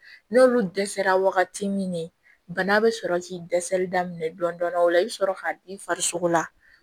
N'olu dɛsɛra wagati min na bana bɛ sɔrɔ k'i dɛsɛli daminɛ dɔɔnin dɔɔnin o la i bɛ sɔrɔ ka bin farisogo la